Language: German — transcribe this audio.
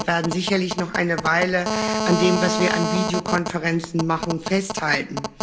Denn wir werden sicherlich noch eine Weile an dem, was wir an Videokonferenzen machen, festhalten.